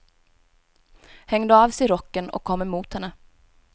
Hängde av sig rocken och kom emot henne.